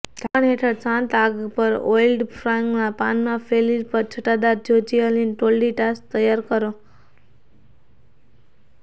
ઢાંકણ હેઠળ શાંત આગ પર ઓઇલ્ડ ફ્રાઈંગ પાનમાં કેફિર પર છટાદાર જ્યોર્જિઅન ટોર્ટિલાઝ તૈયાર કરો